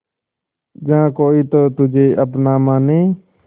जहा कोई तो तुझे अपना माने